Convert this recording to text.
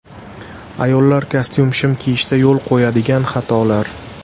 Ayollar kostyum-shim kiyishda yo‘l qo‘yadigan xatolar.